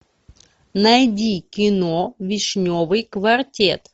найди кино вишневый квартет